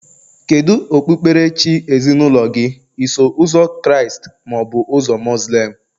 Kedu okpukperechi ezinaụlọ gị, Iso Ụzọ Kraịst ma ọ bụ Muslim?